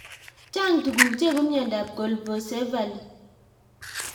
Chang' tuguk cheibu miondop Colpocephaly